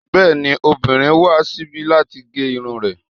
Bẹ́ẹ̀ni, obìnrin wá síbi láti gé irun rẹ̀